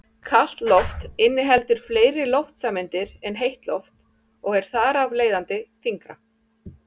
Kalt loft inniheldur fleiri loftsameindir en heitt loft og er þar af leiðandi þyngra.